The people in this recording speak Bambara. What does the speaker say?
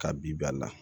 Ka bi bali la